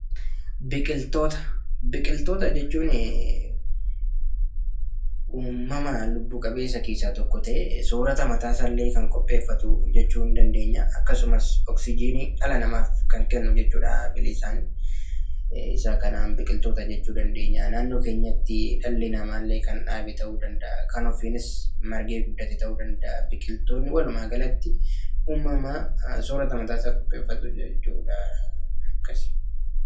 Biqitoota jechuun uumamaa lubbuu qabeenyi keessa tokko ta'e, sorrata mata isaa iilee kan qopheffatuu jechuu ni dandeenya. Aaksumaas oksijii dhala namaaf kan kennu jechuudha. Billisaan. Isaa kannan biqilloota jechuu dandeenya. Naannoo keenyaatti dhali nama ille kan dhabbee ta'u danda'a, kan ofiinis margee guddate ta'uu danda'aa. Biqiltootni walumagalatti soorata mata isaa qopheefatu jechuudha. Aakasi.